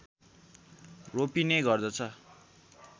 रोपिने गर्दछ